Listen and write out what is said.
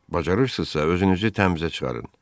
Bacarırsızsa özünüzü təmizə çıxarın.